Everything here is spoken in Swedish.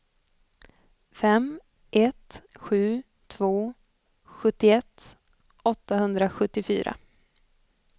fem ett sju två sjuttioett åttahundrasjuttiofyra